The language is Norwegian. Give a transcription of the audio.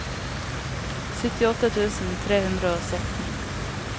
syttiåtte tusen tre hundre og sytten